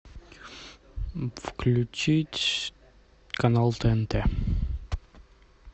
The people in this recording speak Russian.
включить канал тнт